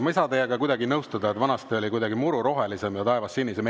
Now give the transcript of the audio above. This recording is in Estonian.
Ma ei saa teiega kuidagi nõustuda, et vanasti oli kuidagi muru rohelisem ja taevas sinisem.